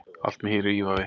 Allt með hýru ívafi